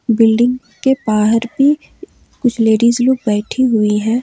Building के बाहर भी कुछ लेडीज लोग बैठी हुई हैं।